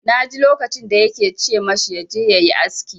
Na ji lokacin da ya ke ce ma shi ya je ya yi aski.